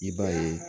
I b'a ye